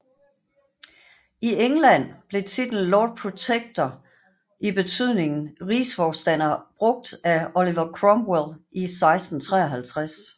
I England blev titlen Lord Protector i betydningen Rigsforstander brugt af Oliver Cromwell i 1653